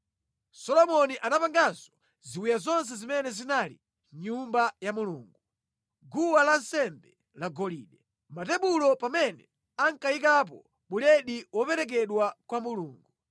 Solomoni anapanganso ziwiya zonse zimene zinali mʼNyumba ya Mulungu: guwa lansembe lagolide; matebulo pamene ankayikapo buledi woperekedwa kwa Mulungu;